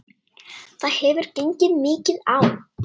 Það hefur gengið mikið á!